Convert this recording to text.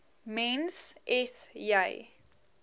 mens s j